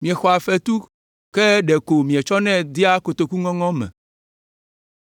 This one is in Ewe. Miexɔa fetu ke ɖeko mietsɔnɛ dea kotoku ŋɔŋɔ me.”